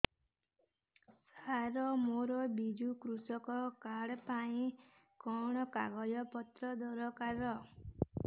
ସାର ମୋର ବିଜୁ କୃଷକ କାର୍ଡ ପାଇଁ କଣ କାଗଜ ପତ୍ର ଦରକାର